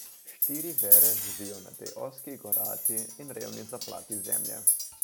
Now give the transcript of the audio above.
Štiri vere živijo na tej ozki, gorati in revni zaplati zemlje.